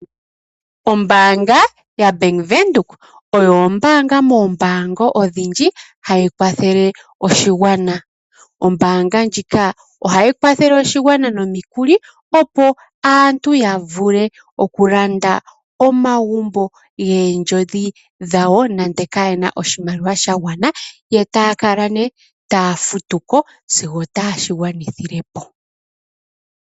Ombaanga ya Venduka oyo ombaanga moombanga odhindji hayi kwathele oshigwana. Ombaanga ndjika ohayi kwathele oshigwana nomikuli opo aantu yavule okulanda omagumbo goondjodhi dhawo nande kayena oshimaliwa shagwana etaya kala nee taya futuko sigo taye shi gwanithilepo.